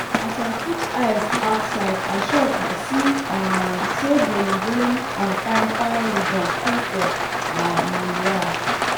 as i put eyes outside i shock as i see um say bolombolom and fine fine ribbon full for um we yard